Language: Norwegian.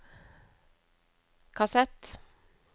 kassett